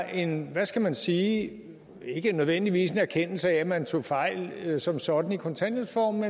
en hvad skal man sige ikke nødvendigvis en erkendelse af at man tog fejl som sådan i kontanthjælpsreformen